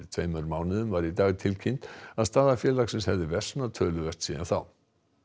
tveimur mánuðum var í dag tilkynnt að staða félagsins hefði versnað töluvert síðan þá